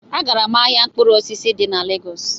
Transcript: Agara m ahịa mkpụrụ osisi dị na Lagos